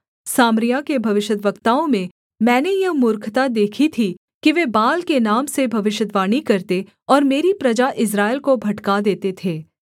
सामरिया के भविष्यद्वक्ताओं में मैंने यह मूर्खता देखी थी कि वे बाल के नाम से भविष्यद्वाणी करते और मेरी प्रजा इस्राएल को भटका देते थे